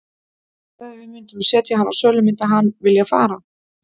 En ef að við myndum setja hann á sölu myndi hann vilja fara?